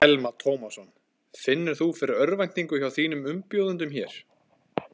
Telma Tómasson: Finnur þú fyrir örvæntingu hjá þínum umbjóðendum hér?